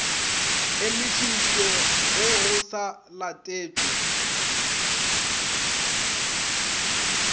emišitšwe ge go sa letetšwe